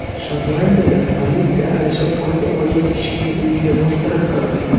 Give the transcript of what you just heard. Shotlandiyada politsiya adashib ko‘zi ojiz kishining uyiga bostirib kirdi.